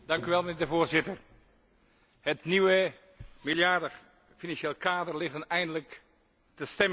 Voorzitter, het nieuwe meerjarig financieel kader ligt dan eindelijk ter stemming.